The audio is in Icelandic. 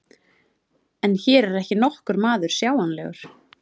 En hér er ekki nokkur maður sjáanlegur.